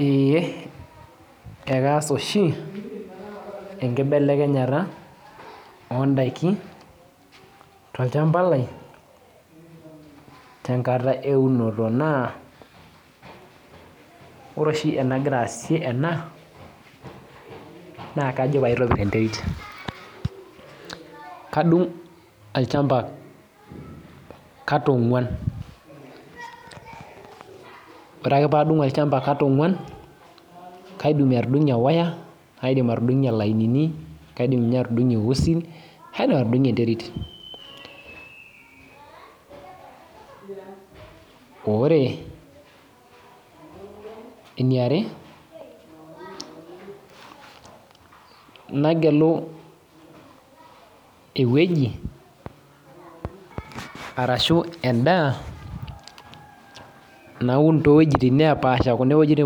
Ee ekaash oshi enkibelekenyatavondaki tolchamba lai tenkata eunoto ore oshi enagira aasie ena na kajo paitobir enterit kadung olchamba kata onguan ore ake padung kataonguan kaidim atudungie lainini, kaidim atudungie usin kaidim atudungie enterit ore eniare nagelu ewueji ashu endaaa napik iwuejitin napaasha kapik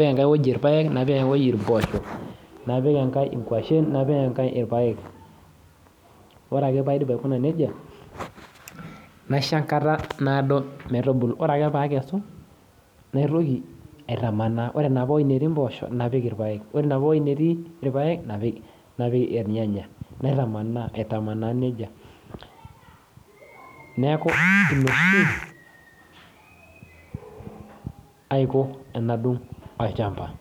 enkae woi irpaek napik mpoosho napik enkae ingwashen ore ake paidip aikuna nejia naisho enkata naado metubulu ore ake pakesu naitoki aitamanaa ore enapa woi natii mpoosho napik irpaek ore enaapa woi natii irpaek napik irnyanya, naitamanaa aiko nejia neaku ina oshi aiko tanadung olchamba.